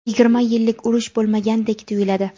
yigirma yillik urush bo‘lmagandek tuyiladi.